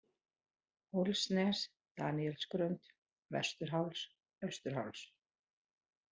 Hólsnes, Daníelsgrund, Vesturháls, Austurháls